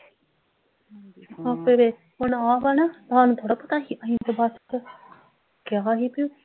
ਆਪੇ ਵੇਖ ਹੁਣ ਆ ਵਾ ਨਾ ਸਾਨੂੰ ਥੋੜਾ ਪਤਾ ਹੀ ਅਸੀਂ ਤਾਂ ਬੱਸ ਕਿਹਾ ਹੀ ਬਈ